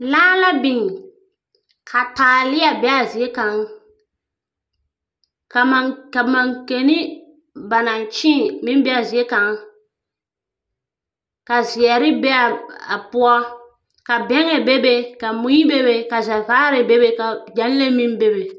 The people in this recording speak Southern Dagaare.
Laa la biŋ, ka taalea be a zie kaŋ, ka ma ka makeni ba naŋ kyeeŋ meŋ be a zie kaŋ. Ka zeɛre be a poɔ. Ka bɛŋɛ bebe, ka mui bebe, ka zɛvaare bebe ka Gyɛlee meŋ bebe.